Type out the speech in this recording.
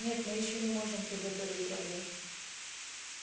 нет мы ещё не можем приготовить рагу